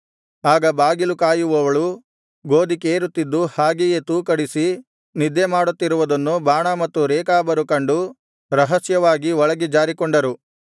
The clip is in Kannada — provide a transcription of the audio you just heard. ಆಗ ಬಾಗಿಲು ಕಾಯುವವಳು ಗೋದಿ ಕೇರುತ್ತಿದ್ದು ಹಾಗೆಯೇ ತೂಕಡಿಸಿ ನಿದ್ದೆಮಾಡುತ್ತಿರುವುದನ್ನು ಬಾಣ ಮತ್ತು ರೇಕಾಬರು ಕಂಡು ರಹಸ್ಯವಾಗಿ ಒಳಗೆ ಜಾರಿಕೊಂಡರು